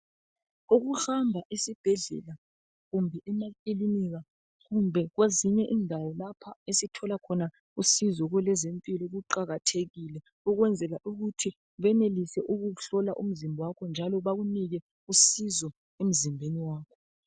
Ukuhamba esibhendlela kumbe emakilinika kumbe kwezinye indawo lapho esithola khona usizo kwezempilo kuqakathekile ukwenzela ukuthi benelise ukukuhlola umzimba wakho njalo bakunike usizo emzimbeni wakho